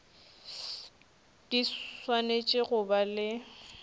di swanetše go ba le